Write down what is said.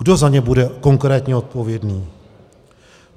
Kdo za ně bude konkrétně odpovědný?